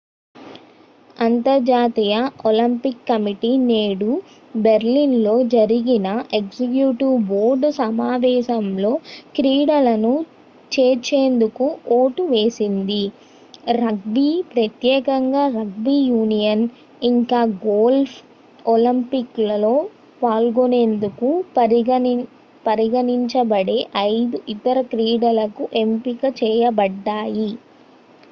అంతర్జాతీయ Olympic committee నేడు Berlin లో జరిగిన ఎగ్జిక్యూటివ్ బోర్డు సమావేశంలో క్రీడలను చేర్చేందుకు ఓటు వేసింది రగ్బీ ప్రత్యేకంగా రగ్బీ యూనియన్ ఇంకా గోల్ఫ్ ఒలింపిక్స్ లో పాల్గొనేందుకు పరిగణించ బడే ఐదు ఇతర క్రీడలకు ఎంపిక చేయబడ్డాయి